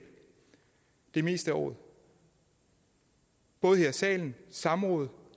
det meste af året både her i salen i samråd